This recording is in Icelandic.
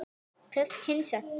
Hvers kyns ertu?